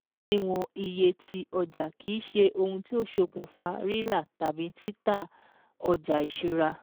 Òdiwọ̀n iye ti ọjà kìí ṣe ohun tí ó ṣokùnfà rírà tàbí títà a ọjà ìṣúra